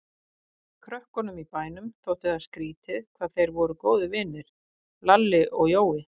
Krökkunum í bænum þótti það skrýtið hvað þeir voru góðir vinir, Lalli og Jói.